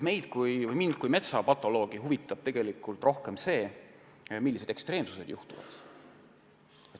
Mind kui metsapatoloogi huvitab tegelikult rohkem see, mida ekstreemset juhtub.